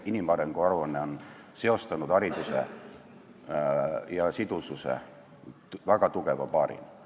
Inimarengu aruanne on hariduse ja sidususe väga tugevalt seostanud.